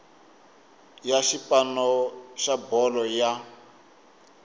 ya xipano xa bolo ya